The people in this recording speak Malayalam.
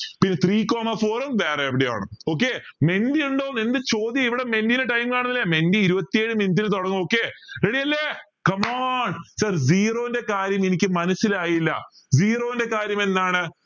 പിന്നെ three coma four വേറെ എവിടെയോ ആണ് okay ഉണ്ടോ എന്ത് ചോദ്യ ഇവിടെ time കാണുന്നില്ലേ ഇരുവത്തിഏഴ് minute ൽ തുടങ്ങു ready അല്ലേ come on zero ന്റെ കാര്യം എനിക്ക് മനസ്സിലായില്ല zero ന്റെ കാര്യം എന്താണ്